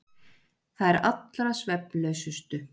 Þær allra svefnlausustu.